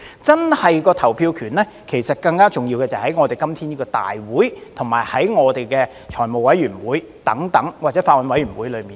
真正的投票權，其實更重要的就是在今天的大會，以及財務委員會或法案委員會等。